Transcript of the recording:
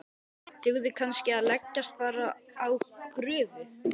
Dugði kannski að leggjast bara á grúfu?